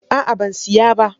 A'a ban siya ba.